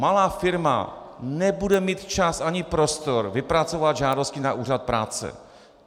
Malá firma nebude mít čas ani prostor vypracovat žádosti na úřad práce.